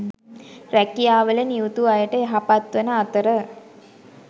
රැකියාවල නියුතු අයට යහපත්වන අතර